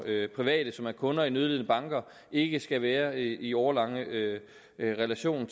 private som er kunder i nødlidende banker ikke skal være i årelange relationer